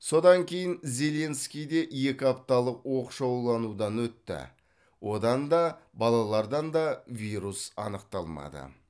содан кейін зеленский де екі апталық оқшауланудан өтті одан да балалардан да вирус анықталмады